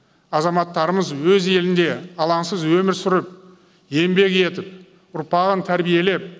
азаматтарымыз өз елінде алаңсыз өмір сүріп еңбек етіп ұрпағын тәрбиелеп